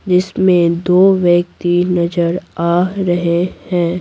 जिसमें दो व्यक्ति नजर आ रहे हैं।